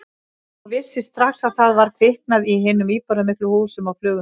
Og vissi strax að það var kviknað í hinum íburðarmiklu húsum á Flugumýri.